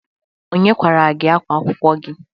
Onye kwara gị ákwá akwụkwọ gị?